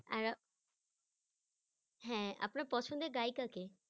হ্যাঁ আপনার পছন্দের গায়িকা কে?